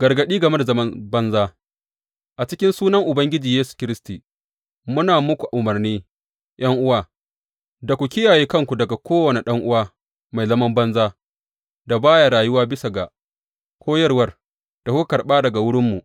Gargaɗi game da zaman banza A cikin sunan Ubangiji Yesu Kiristi, muna muku umarni, ’yan’uwa, da ku kiyaye kanku daga kowane ɗan’uwa mai zaman banza da ba ya rayuwa bisa ga koyarwar da kuka karɓa daga wurinmu.